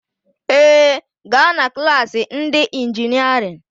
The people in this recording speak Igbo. Ee, gaa na klaasị ndị ịnjinịerịn